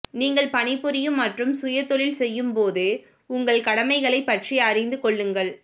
நீங்கள் பணிபுரியும் மற்றும் சுய தொழில் செய்யும்போது உங்கள் கடமைகளைப் பற்றி அறிந்து கொள்ளுங்கள்